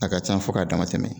A ka ca fɔ k'a damatɛmɛ